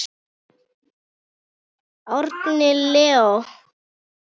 Árni Leó.